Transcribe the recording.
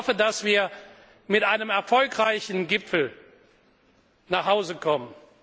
Ich hoffe, dass wir mit einem erfolgreichen Gipfel nach Hause kommen.